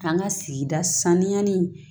An ka sigi sanuyali